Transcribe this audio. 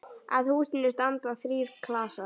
Að húsinu standa þrír klasar.